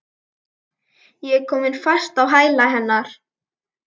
Ég er komin fast á hæla hennar.